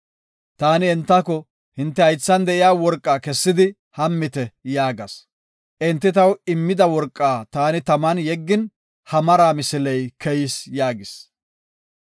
Taani entako, ‘Hinte haythan de7iya worqaa kessidi, hammite’ yaagas. Enti taw immida worqaa taani taman yeggin, ha mara misiley keyis” yaagis.